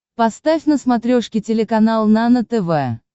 поставь на смотрешке телеканал нано тв